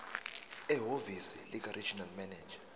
ehhovisi likaregional manager